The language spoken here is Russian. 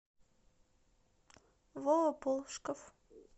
вова полшков